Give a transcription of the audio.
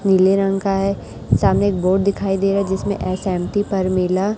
नीले रंग का है सामने एक बोर्ड दिखाई रहा है जिसमें इस_एम_टी परमिला--